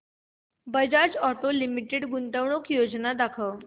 Bajaj auto limited गुंतवणूक योजना दाखव